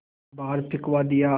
बाहर फिंकवा दिया